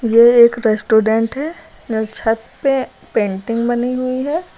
ये एक रेस्टोरेंट है छत पे पेंटिंग बनी हुई है।